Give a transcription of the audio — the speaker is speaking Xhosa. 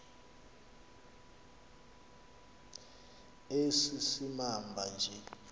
esi simamva nje